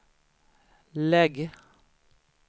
lägg